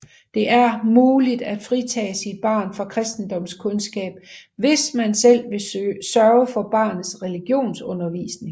Det er muligt at fritage sit barn fra Kristendomskundskab hvis man selv vil sørge for barnets religionsundervisning